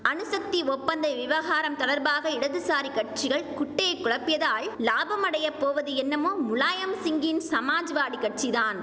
அணுசக்தி ஒப்பந்த விவகாரம் தொடர்பாக இடதுசாரி கட்சிகள் குட்டையை குழப்பியதால் லாபம் அடைய போவது என்னமோ முலாயம் சிங்கின் சமாஜ்வாடி கட்சிதான்